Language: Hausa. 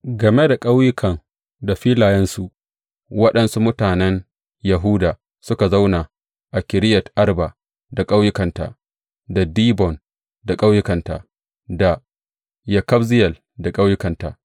Game da ƙauyukan da filayensu, waɗansu mutanen Yahuda suka zauna a Kiriyat Arba da ƙauyukanta, da Dibon da ƙauyukanta, da Yekabzeyel da ƙauyukanta.